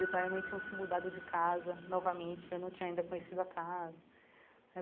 Meu pai e a mãe tinham se mudado de casa novamente, eu não tinha ainda conhecido a casa.